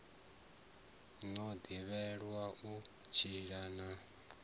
no ḓivhelwa u tshila na